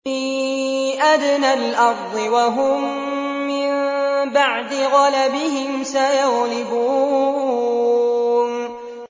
فِي أَدْنَى الْأَرْضِ وَهُم مِّن بَعْدِ غَلَبِهِمْ سَيَغْلِبُونَ